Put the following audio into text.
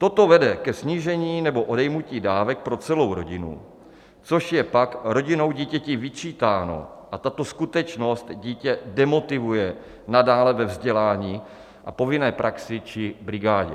Toto vede ke snížení nebo odejmutí dávek pro celou rodinu, což je pak rodinou dítěti vyčítáno a tato skutečnost dítě demotivuje nadále ve vzdělání a povinné praxi či brigádě.